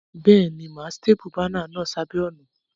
Béèni, mà á staple banner náà sébàá ònà